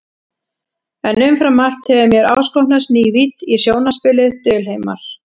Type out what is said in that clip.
En umfram allt hefur mér áskotnast ný vídd í sjónarspilið, dulheimar.